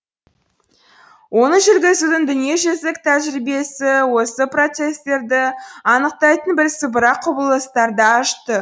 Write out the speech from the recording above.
оны жүргізудің дүниежүзілік тәжірибесі осы процестерді анықтайтын бірсыпыра құбылыстарды ашты